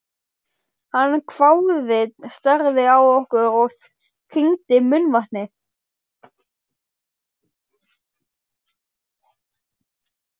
Hann hváði, starði á okkur og kyngdi munnvatni.